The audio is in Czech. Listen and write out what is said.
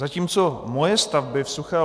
Zatímco moje stavby v Suché